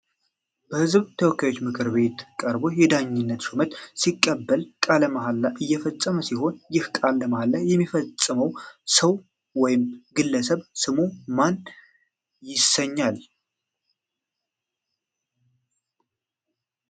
በህዝብ ተወካዮች ምክር ቤት ቀርቦ የዳኝነት ሹመን ሲቀበል ቃለ መሃላ እየፈጸመ ሲሆን። ይህን ቃለ መሃላ የሚፈጽሙ ሰው ወይም ግለሰብ ስሙ ማን ይሰኛል?